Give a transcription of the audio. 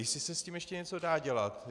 Jestli se s tím ještě něco dá dělat.